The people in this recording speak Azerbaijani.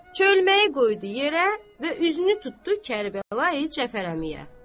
Çölməyi qoydu yerə və üzünü tutdu Kərbəlayı Cəfər əmiyə.